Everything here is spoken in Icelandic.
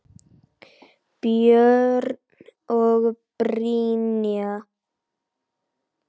Björn og Brynja.